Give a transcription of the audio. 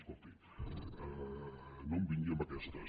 escolti no em vingui amb aquestes